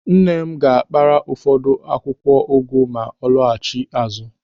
Nne m ga-akpara ụfọdụ akwụkwọ ụgụ ma ọ laghachi azụ.